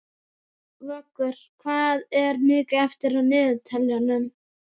Vöggur, hvað er mikið eftir af niðurteljaranum?